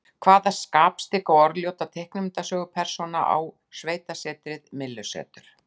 Hvaða skapstygga og orðljóta teiknimyndasögupersóna á sveitasetrið Myllusetur?